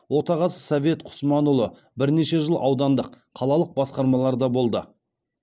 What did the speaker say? отағасы совет құсманұлы бірнеше жыл аудандық қалалық басқармаларда болды